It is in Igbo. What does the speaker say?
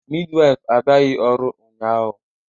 Midwife abịaghị ọrụ ụnyahụ